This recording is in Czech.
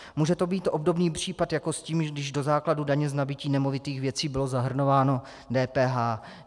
Může to být obdobný případ jako s tím, když do základu daně z nabytí nemovitých věcí bylo zahrnováno DPH.